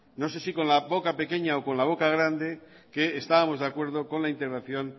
no sé si con la boca pequeña o con la boca grande que estábamos de acuerdo con la intervención